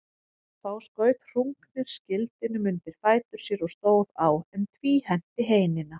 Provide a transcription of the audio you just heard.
Þá skaut Hrungnir skildinum undir fætur sér og stóð á, en tvíhenti heinina.